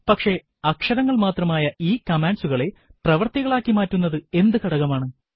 പക്ഷെ അക്ഷരങ്ങൾ മാത്രമായ ഈ കമാൻഡ്സുകളെ പ്രവർത്തികളാക്കി മാറ്റുന്നത് എന്ത് ഘടകമാണ്